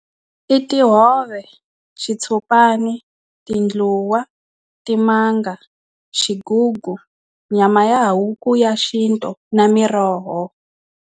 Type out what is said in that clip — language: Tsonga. I tihove xitshopani tindluwa timanga xigugu nyama ya huku ya xintu na miroho.